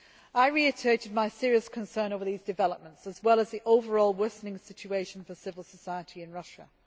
I reiterated my serious concerns over these developments as well as the overall worsening situation for civil society in Russia.